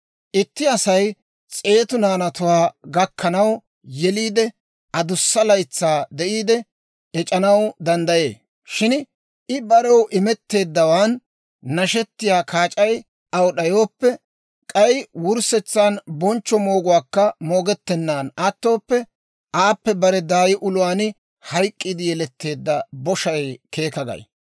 Itti Asay s'eetu naanatuwaa gakkanaw yeliide, adussa laytsaa de'iide ec'anaw danddayee; shin I barew imetteeddawaan nashettiyaa kaac'ay aw d'ayooppe, k'ay wurssetsan bonchcho mooguwaakka moogettennan attooppe, aappe bare daay uluwaan hayk'k'iide yeletteedda boshay keeka gay.